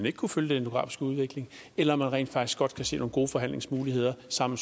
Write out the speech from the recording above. ikke kunne følge den demografiske udvikling eller om man rent faktisk godt kan se nogle gode forhandlingsmuligheder sammen